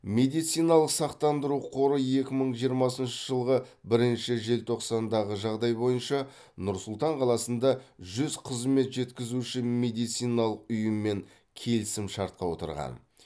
медициналық сақтандыру қоры екі мың жиырмасыншы жылғы бірінші желтоқсандағы жағдай бойынша нұр сұлтан қаласында жүз қызмет жеткізуші медициналық ұйыммен келісімшартқа отырған